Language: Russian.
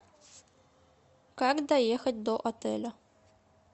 как доехать до отеля